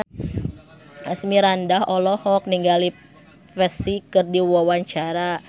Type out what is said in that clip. Asmirandah olohok ningali Psy keur diwawancara